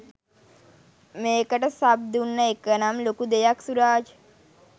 මේකට සබ් දුන්න එක නම් ලොකු දෙයක් සුරාජ්.